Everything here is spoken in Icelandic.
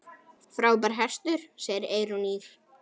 Frábær hestur, segir Eyrún Ýr.